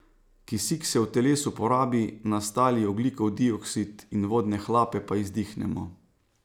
Kisik se v telesu porabi, nastali ogljikov dioksid in vodne hlape pa izdihnemo.